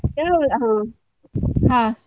ಯಾವುರು, ಹಾ ಹಾ.